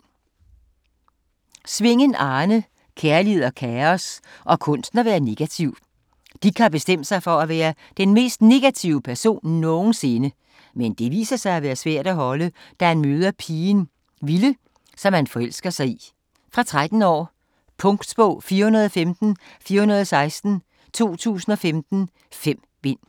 Svingen, Arne: Kærlighed og kaos - og kunsten at være negativ Dick har bestemt sig for at være den mest negative person nogensinde. Men det viser sig at være svært at holde, da han møder pigen Vilde, som han forelsker sig i. Fra 13 år. Punktbog 415416 2015. 5 bind.